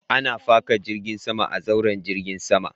Ana faka jiragen sama a zauren jirgin sama.